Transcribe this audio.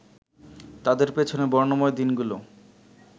তাঁদের পেছনের বর্ণময় দিনগুলো